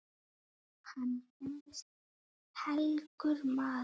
Hann gerðist helgur maður.